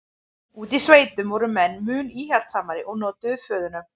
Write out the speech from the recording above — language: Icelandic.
úti í sveitunum voru menn mun íhaldssamari og notuðu föðurnöfn